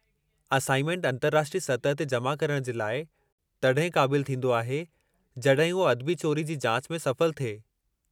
Assignment अंतरराष्ट्रीय सतह ते जमा करणु जे लाइ तड॒हिं क़ाबिलु थींदो आहे जड॒हिं उहो अदबी चोरी जी जाच में सफल थिए।